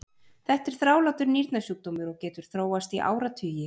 Þetta er þrálátur nýrnasjúkdómur og getur þróast í áratugi.